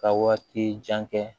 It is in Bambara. Ka waati jan kɛ